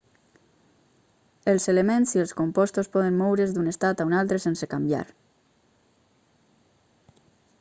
els elements i els compostos poden moure's d'un estat a un altre sense canviar